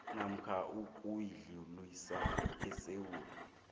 namkha ukuyidlulisa esewula